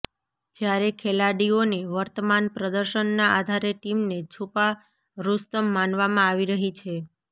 જયારે ખેલાડીઓને વર્તમાન પ્રદર્શનના આધારે ટીમને છુપા રુસ્તમ માનવામાં આવી રહી છે